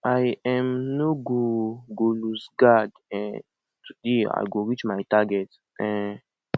i um no go go loose guard um today i go reach my target um